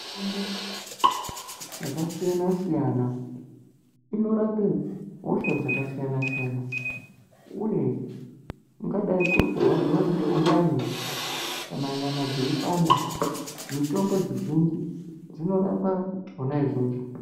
Mitombo yakasiyana siyana Inorapa hosha dzakasiyana siyana Uye kungadai kuri kurwadziwa nemundani kana nyama dzeipanda mitombo dzizhinji dzinorapa zvona izvozvo.